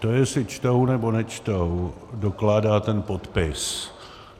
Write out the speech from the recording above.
To, jestli čtou, nebo nečtou, dokládá ten podpis.